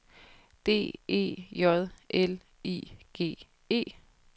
D E J L I G E